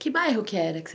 Que bairro que era?